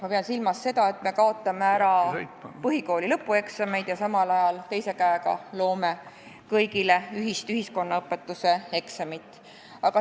Ma pean silmas seda, et me kaotame põhikooli lõpueksamid ja samal ajal teise käega loome kõigile ühist ühiskonnaõpetuse eksamit.